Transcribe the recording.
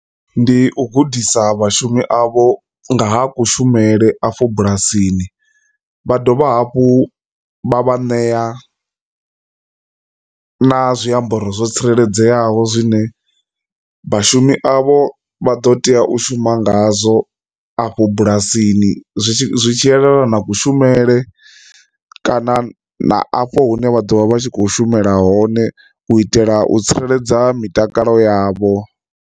Ndi u gudisa vhashumi avho nga ha kushumele afho bulasini vha dovha hafhu vha vha ṋea na zwiambaro zwo tsireledzeaho zwine vhashumi avho vha ḓo tea u shuma ngazwo afho bulasini zwi tshi zwi tshi yelana na kushumele kana na afho hune vha ḓo vha vha tshi khou shumela hone u itela u tsireledza mitakalo yavho.